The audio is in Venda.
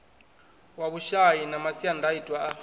wa vhushai na masiandaitwa a